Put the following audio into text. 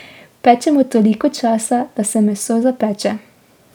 Pečemo toliko časa, da se meso zapeče.